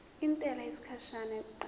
intela yesikhashana yokuqala